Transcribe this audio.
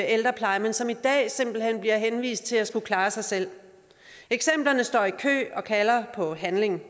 ældrepleje men som i dag simpelt hen bliver henvist til at skulle klare sig selv eksemplerne står i kø og kalder på handling